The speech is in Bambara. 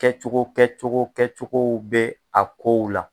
Kɛcogo kɛcogo kɛcogow bɛ a kow la.